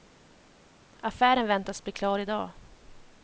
Affären väntas bli klar i dag.